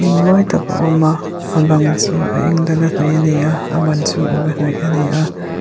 mawi tak a awm a a bang chu a eng dala hnawih a ni a a ban chu a uk a hnawih a ni a.